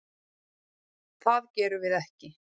Það gerum við ekki.